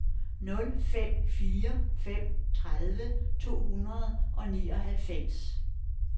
nul fem fire fem tredive to hundrede og nioghalvfems